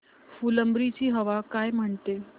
फुलंब्री ची हवा काय म्हणते